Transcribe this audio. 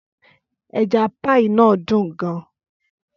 Ẹja pie náà dùn gan-an.